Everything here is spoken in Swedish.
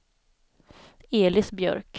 Elis Björk